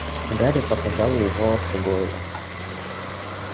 гарри показал ей волосы гойла